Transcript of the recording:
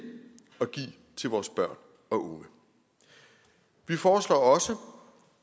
at give til vores børn og unge vi foreslår også